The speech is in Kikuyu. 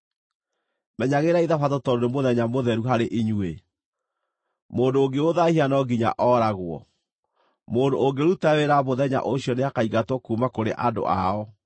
“ ‘Menyagĩrĩrai Thabatũ tondũ nĩ mũthenya mũtheru harĩ inyuĩ. Mũndũ ũngĩũthaahia no nginya ooragwo; mũndũ ũngĩruta wĩra mũthenya ũcio nĩakaingatwo kuuma kũrĩ andũ ao.